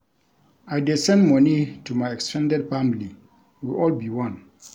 I dey send moni to my ex ten ded family, we all be one.